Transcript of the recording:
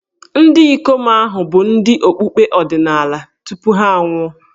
Ndị ikom ahụ hà bụ ndị okpukpe ọdịnala tupu ha anwụọ?